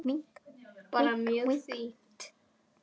Bara mjög fínt.